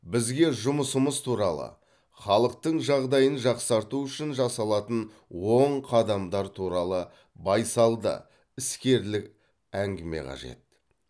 бізге жұмысымыз туралы халықтың жағдайын жақсарту үшін жасалатын оң қадамдар туралы байсалды іскерлік әңгіме қажет